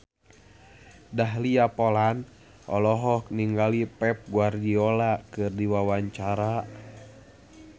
Dahlia Poland olohok ningali Pep Guardiola keur diwawancara